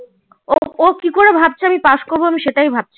ও কি করে ভাবছে আমি পাস করবো সেটাই ভাবছি